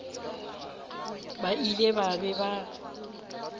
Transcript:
ba ile ba be ba